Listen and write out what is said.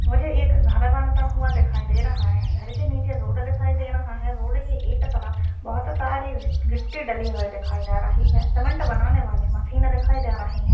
मुझे एक घर बनता हुआ दिखाई दे रहा है। घर के नीचे रोड दिखाई दे रहा है। रोड के एक तरफ बोहोत सारी गिट्टी डाली हुए हैं। सीमेंट बनाने वाली मशीन दिखाई दे रही है।